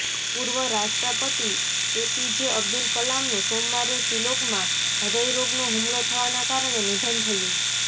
પૂર્વ રાષ્ટ્રપતિ એપીજે અબ્દુલ કલામનું સોમવારે શિલોગમાં હદય રોગનો હુમલો થવાના કારણે નિધન થયું